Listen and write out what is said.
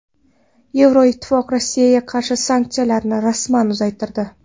Yevroittifoq Rossiyaga qarshi sanksiyalarni rasman uzaytirdi.